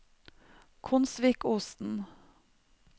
Konsvikosen